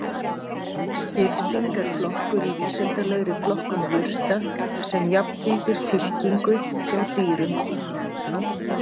Skipting er flokkur í vísindalegri flokkun jurta sem jafngildir fylkingu hjá dýrum.